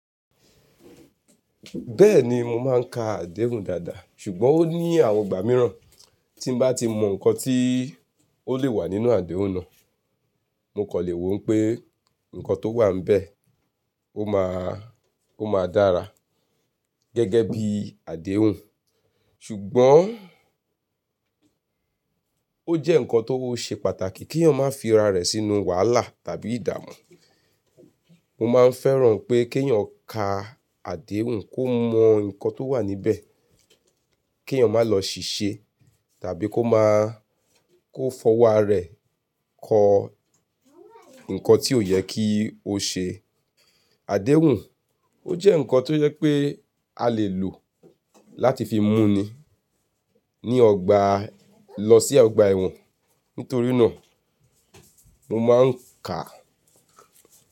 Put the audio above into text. Bẹ́ẹ̀ni mo máa ń ka àdéhùn dáadáa ṣùgbọ́n ó ní àwọn ọgbà mìíràn tí bá ti mọ nǹkan tí ó lè wà nínú àdéhùn náà, mo kọ̀ lè wò pé nǹkan tó wà níbẹ̀ ó máa, ó máa dára gẹ́gẹ́ bí àdéhùn. Ṣùgbọ́n ó jẹ́ nǹkan tó ṣe pàtàkì kí ènìyàn má fi ara rẹ̀ sínú wàhálà tàbí ìdààmú. Mo máa ń fẹ́ràn pé kí ènìyàn ka àdéhùn kó mọ nǹkan tó wà níbẹ̀, kí ènìyàn má lọ ṣìṣe tàbí kó má, kó fọwọ́ ara rẹ̀ kọ nǹkan tí ò yẹ kí ó ṣe. Àdéhùn ó jẹ́ nǹkan tó yẹ pé a lè lò láti fi mú ni ní ọgbà lọ sí ọgbà ẹ̀wọ̀n. Nítorí náà mo máa ń ka.